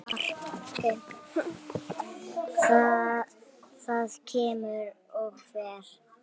Það kemur og fer.